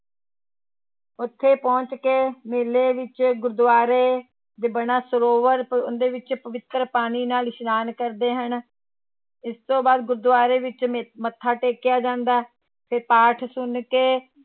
ਉੱਥੇ ਪਹੁੰਚ ਕੇ ਮੇਲੇ ਵਿੱਚ ਗੁਰਦੁਆਰੇ ਦੇ ਬਣਾ ਸਰੋਵਰ ਉਹਦੇ ਵਿੱਚ ਪਵਿੱਤਰ ਪਾਣੀ ਨਾਲ ਇਸ਼ਨਾਨ ਕਰਦੇ ਹਨ, ਇਸ ਤੋਂ ਬਾਅਦ ਗੁਰਦੁਆਰੇ ਵਿੱਚ ਮ ਮੱਥਾ ਟੇਕਿਆ ਜਾਂਦਾ ਤੇ ਪਾਠ ਸੁਣ ਕੇ